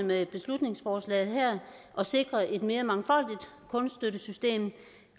med beslutningsforslaget her at sikre et mere mangfoldigt kunststøttesystem